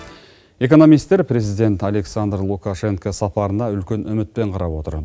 экономистер президент александр лукашенко сапарына үлкен үмітпен қарап отыр